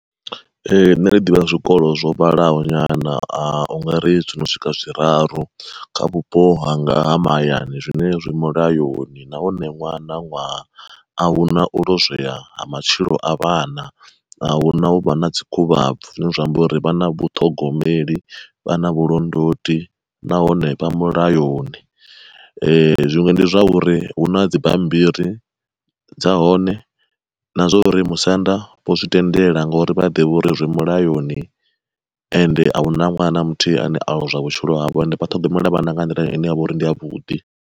Ehe ṋne ndi ḓivha zwikolo zwo vhalaho nyana, u nga ri zwi no swika zwiraru kha vhupo hanga ha mahayani zwine zwi mulayoni, nahone ṅwaha na ṅwaha a huna u lozwea ha matshilo a vhana, ahuna hu vha na dzi khuvhabvi zwine zwa amba uri vhana vhaṱhogomeli vhana vhulondoti nahone vha mulayoni. Zwiṅwe ndi zwauri hu na dzi bammbiri dza hone, na zwa uri musanda vho zwi tendela ngori vha a ḓivha uri zwi mulayoni, ende ahuna ṅwana na muthihi ane ono lozwea vhutshilo hawe ende vha ṱhogomela vhana nga nḓila ine ya vha uri ndi yavhuḓi.